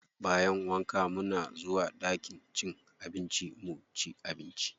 Bayan wanka muna zuwa ɗakin cin abinci muci abinci.